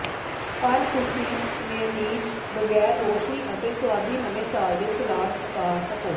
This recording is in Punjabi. ਪਰ ਤੁਸੀਂ ਮੇਅਨੀਜ਼ ਬਗੈਰ ਰੌਸ਼ਨੀ ਅਤੇ ਸੁਆਦੀ ਨਵੇਂ ਸਾਲ ਦੇ ਸਲਾਦ ਪਕਾ ਸਕੋ